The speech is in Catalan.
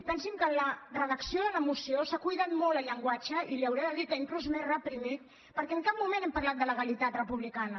pensin que en la redacció de la moció s’ha cuidat molt el llenguatge i li hauré de dir que inclús m’he reprimit perquè en cap moment hem parlat de legalitat republicana